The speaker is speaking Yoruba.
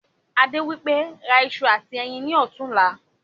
Adé wípé" ra ìṣù àti ẹyin ni ọ̀tunla"